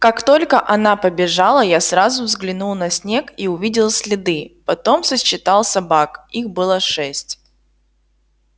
как только она побежала я сразу взглянул на снег и увидел следы потом сосчитал собак их было шесть